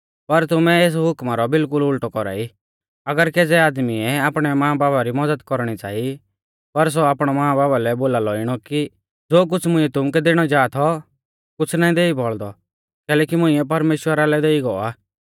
पर तुमै एस हुकमा रौ बिल्कुल उल़टौ कौरा ई अगर केज़ौ आदमीऐ आपणै मांबापा री मज़द कौरणी च़ांई पर सौ आपणै मांबापा लै बोलालौ इणौ कि ज़ो कुछ़ मुंइऐ तुमुकै दैणौ जा थौ कुछ़ ना देई बौल़दौ कैलैकि मुंइऐ परमेश्‍वरा लै देई गौ आ